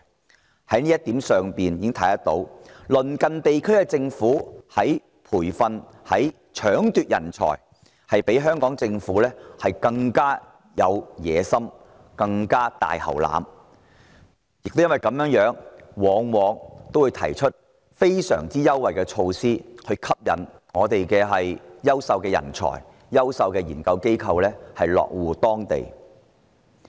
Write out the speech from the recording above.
由此可見，在培訓、搶奪人才上，鄰近地區的政府比香港政府更具野心、更"大喉欖"；亦因如此，他們往往會提出非常優惠的措施來吸引香港的優秀人才及研究機構落戶當地。